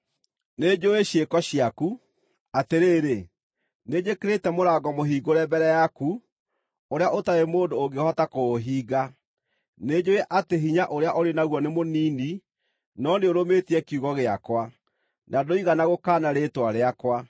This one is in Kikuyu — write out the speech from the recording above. Nĩnjũũĩ ciĩko ciaku. Atĩrĩrĩ, nĩnjĩkĩrĩte mũrango mũhingũre mbere yaku, ũrĩa ũtarĩ mũndũ ũngĩhota kũũhinga. Nĩnjũũĩ atĩ hinya ũrĩa ũrĩ naguo nĩ mũnini, no nĩũrũmĩtie kiugo gĩakwa, na ndũigana gũkaana rĩĩtwa rĩakwa.